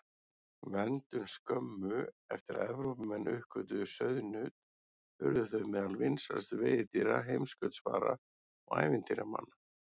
Verndun Skömmu eftir að Evrópumenn uppgötvuðu sauðnaut urðu þau meðal vinsælustu veiðidýra heimskautsfara og ævintýramanna.